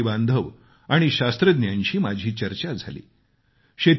तिथे शेतकरी बांधव आणि शास्त्रज्ञांशी माझी चर्चा झाली